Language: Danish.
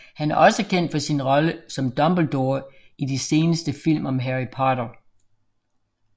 Han er også kendt for sin rolle som Dumbledore i de seneste film om Harry Potter